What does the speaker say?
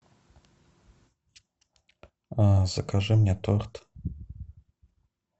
закажи мне торт